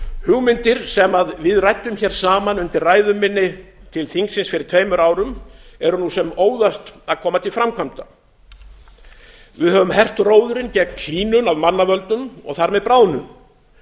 hugmyndir sem við ræddum hér saman undir ræðu minni til þingsins fyrir tveimur árum eru nú sem óðast að koma til framkvæmda við höfum hert róðurinn gegn hlýnun af mannavöldum og þar með bráðnun